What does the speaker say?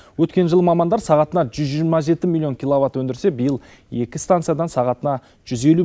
өткен жылы мамандар сағатына жүз жиырма жеті миллион киловатт өндірсе биыл екі станциядан сағатына жүз елу